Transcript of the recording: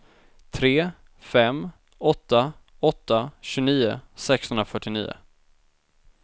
tre fem åtta åtta tjugonio sexhundrafyrtionio